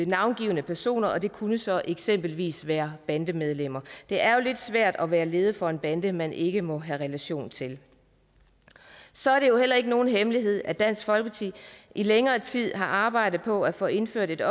navngivne personer og det kunne så eksempelvis være bandemedlemmer det er lidt svært at være leder for en bande man ikke må have relation til så er det jo heller ikke nogen hemmelighed at dansk folkeparti i længere tid har arbejdet på at få indført et